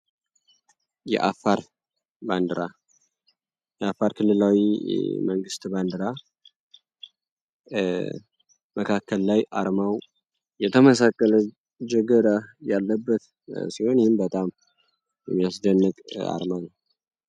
የአፋር ባንዲራ የአፋር ክሌላዊ መንግስት ባንድራ መካከል ላይ አርማው የተመሳቀለ ጀገራ ያለበት ሲሆን ይህም በጣም የሚያስደንቅ አርማ ነው።